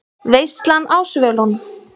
VEISLAN Á SVÖLUNUM